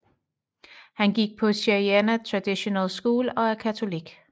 Han gik på Cheyenna Traditional School og er katolik